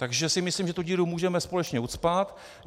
Takže si myslím, že tu díru můžeme společně ucpat.